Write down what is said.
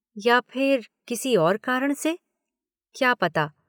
या फिर किसी और कारण से? क्या पता।